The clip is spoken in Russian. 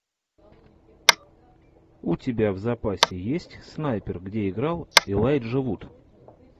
у тебя в запасе есть снайпер где играл элайджа вуд